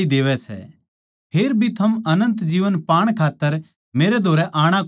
फेर भी थम अनन्त जीवन पाण खात्तर मेरै धोरै आणा कोनी चाहन्दे